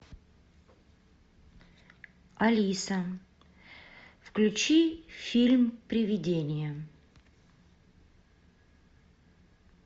алиса включи фильм привидение